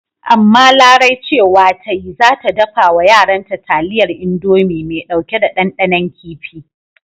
Amma Larai cewa ta yi ce za ta dafa wa yaranta taliyar Indomi mai ɗauke da ɗanɗanon kifi.